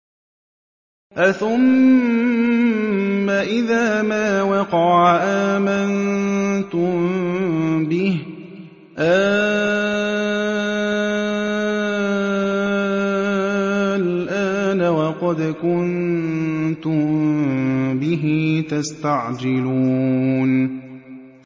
أَثُمَّ إِذَا مَا وَقَعَ آمَنتُم بِهِ ۚ آلْآنَ وَقَدْ كُنتُم بِهِ تَسْتَعْجِلُونَ